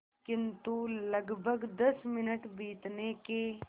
किंतु लगभग दस मिनट बीतने के